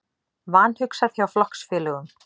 Vanhugsað hjá flokksfélögum